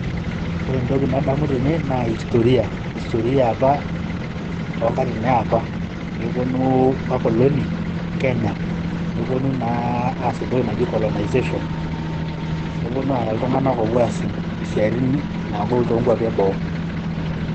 Ore entoki nadamu tene naa historia toonkatitin enapa peeponu wakoloni Kenya . Nepuonu naa aas entoki naji colonization. Nepuonu aya iltunganak opuo aas isiatin nagol toonkwapi eboo .